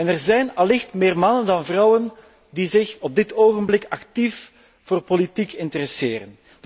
Er zijn allicht meer mannen dan vrouwen die zich op dit ogenblik actief voor politiek interesseren.